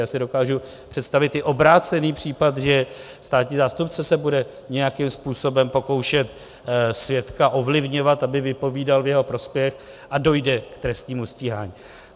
Já si dokážu představit i obrácený případ, že státní zástupce se bude nějakým způsobem pokoušet svědka ovlivňovat, aby vypovídal v jeho prospěch, a dojde k trestnímu stíhání.